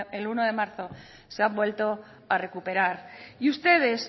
el uno de marzo se han vuelto a recuperar y ustedes